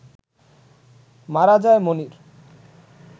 মারা যায় মনির